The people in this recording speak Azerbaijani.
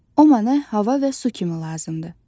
Ona hava və su kimi lazımdır.